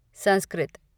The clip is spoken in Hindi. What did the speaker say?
संस्कृत